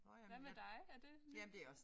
Hvad med dig er det